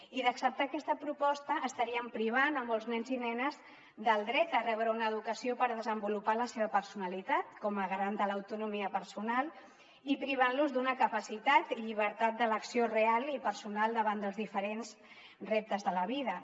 i d’acceptar aquesta proposta estaríem privant molts nens i nenes del dret a rebre una educació per desenvolupar la seva personalitat com a ga·rant de l’autonomia personal i privant·los d’una capacitat i llibertat d’elecció real i personal davant dels diferents reptes de la vida